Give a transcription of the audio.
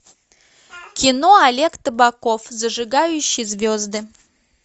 кино олег табаков зажигающий звезды